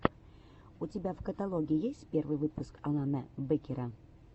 у тебя в каталоге есть первый выпуск алана бэкера